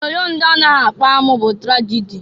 Onyoonyo ndị na-anaghị akpa amụ bụ tragịdị.